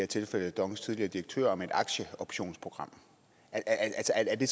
tilfælde dongs tidligere direktør siger om et aktieoptionsprogram altså er det